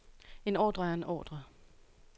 En ordre er en ordre.